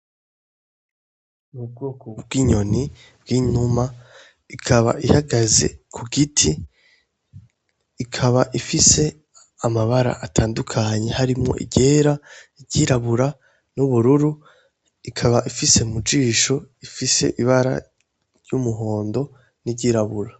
Ubwoko bw'inyoni bw'inuma, ikaba ihagaze ku giti, ikaba ifise amabara atandukanye, harimwo iryera, iryirabura n'ubururu, ikaba ifise mu jisho, ifise ibara ry'umuhondo n'iryirabura.